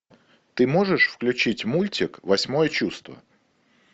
ты можешь включить мультик восьмое чувство